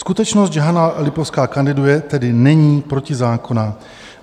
Skutečnost, že Hana Lipovská kandiduje, tedy není protizákonná.